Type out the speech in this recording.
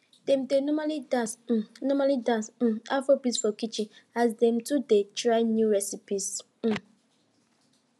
dem dey normally dance um normally dance um afrobeats for kitchen as dem two dey try new receipes um